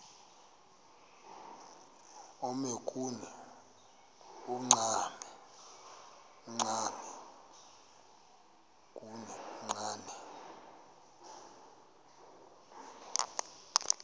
omnye kuni uchane